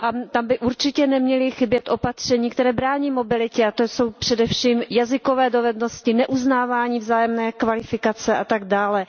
Tam by určitě neměla chybět opatření, která brání mobilitě, a to jsou především jazykové dovednosti, neuznávání vzájemné kvalifikace a tak dále.